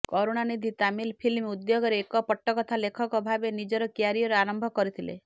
Karunanidhi Tamil film ଉଦ୍ୟୋଗରେ ଏକ ପଟ୍ଟକଥା ଲେଖକ ଭାବେ ନିଜର କ୍ୟାରିୟର ଆରମ୍ଭ କରିଥିଲେ